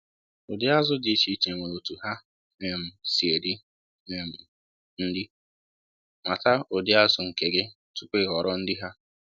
Ụdi azụ dị iche iche nwere otụ ha um si eri um nri—mata ụdi azu nke gị tupu ị họrọ nri ha